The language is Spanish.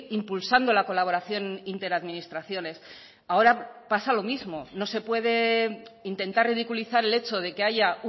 impulsando la colaboración interadministraciones ahora pasa lo mismo no se puede intentar ridiculizar el hecho de que haya